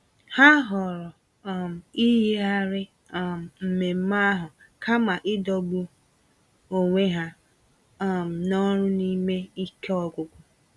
Ha họọrọ um iyigharị um mmemmé ahụ kama ịdọgbu onwe ha um n'ọrụ n'ime ike ọgwụgwụ.